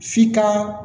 F'i ka